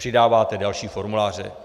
Přidáváte další formuláře.